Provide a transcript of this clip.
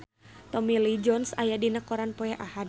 Tommy Lee Jones aya dina koran poe Ahad